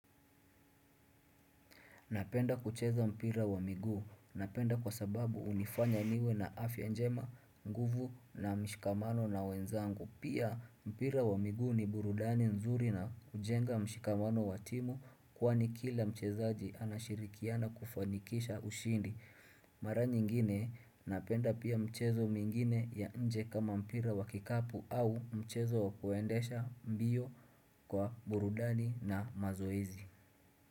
Napenda kucheza mpira wa miguu. Napenda kwa sababu hunifanya niwe na afya njema nguvu na mshikamano na wenzangu. Pia mpira wa miguu ni burudani nzuri na hujenga mshikamano wa timu kwani kila mchezaji anashirikiana kufanikisha ushindi. Mara nyingine napenda pia mchezo mwingine ya nje kama mpira wa kikapu au mchezo wakuendesha mbio kwa burudani na mazoezi.